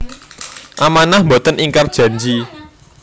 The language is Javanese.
Amanah Mboten ingkar janji